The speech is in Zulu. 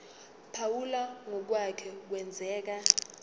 phawula ngokwake kwenzeka